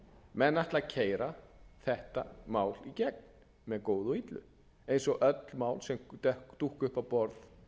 menn ætla að keyra þetta mál í gegn með góðu eða illu eins og öll mál sem dúkka upp á borð